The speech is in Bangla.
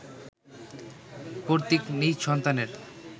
কর্তৃক নিজ সন্তানের